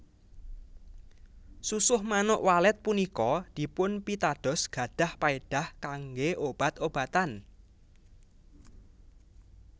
Susuh Manuk Walet punika dipunpitados gadhah paedah kanggé obat obatan